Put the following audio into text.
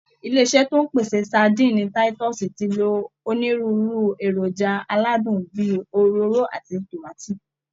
Ilé iṣẹ́ tó ń pèsè sadíìnì táítọ́ọ̀sì ti lo onírúurú èròjà aládùn bí i òróró àti tòmátì